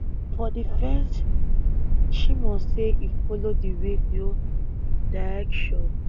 for di fence shimon say e follow di radio dierctions